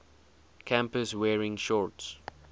campus wearing shorts